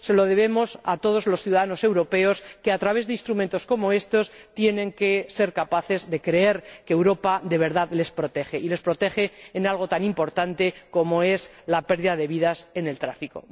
Se lo debemos a todos los ciudadanos europeos que, a través de instrumentos como estos, tienen que ser capaces de creer que Europa, de verdad, les protege, y les protege ante algo tan importante como la pérdida de vidas en el tráfico.